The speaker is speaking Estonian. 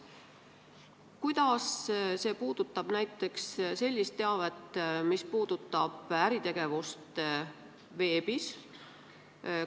Kuidas see puudutab näiteks teavet äritegevuse kohta veebis?